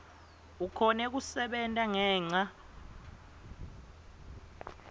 ukhone kusebenta ngenca